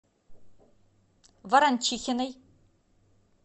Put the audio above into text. ворончихиной